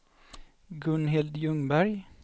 Gunhild Ljungberg